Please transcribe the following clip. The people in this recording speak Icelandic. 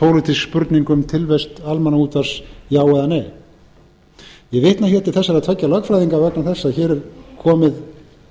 vitna hér til þessara tveggja lögfræðinga vegna þess að hér er komið